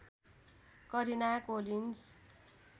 Karina Collins